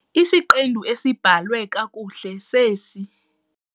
Isiqendu esibhalwe kakuhle sesi.